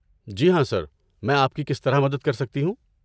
جی ہاں، سر، میں آپ کی کس طرح مدد کر سکتی ہوں؟